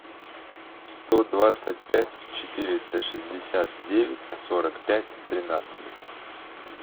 сто двадцать пять четыреста шестьдесят девять сорок пять тринадцать